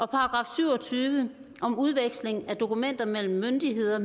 § syv og tyve om udveksling af dokumenter mellem myndigheder